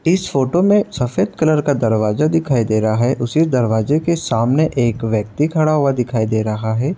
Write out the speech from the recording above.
इस फ़ोटो में सफ़ेद कलर का दरवाजा दिखाई दे रहा है उसी दरवाजे के सामने एक व्यक्ति खड़ा हुआ दिखाई दे रहा है।